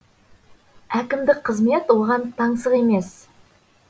әкімдік қызмет оған таңсық емес